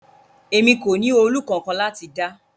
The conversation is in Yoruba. Emi ko ni òòlù kankan lati da